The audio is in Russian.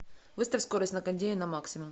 выставь скорость на кондее на максимум